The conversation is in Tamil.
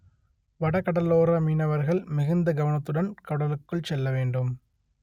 வட கடலோர மீனவர்கள் மிகுந்த கவனத்துடன் கடலுக்குள் செல்ல வேண்டும்